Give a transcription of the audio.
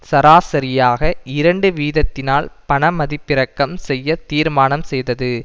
சராசரியாக இரண்டு வீதத்தினால் பணமதிப்பிறக்கம் செய்ய தீர்மானம் செய்தது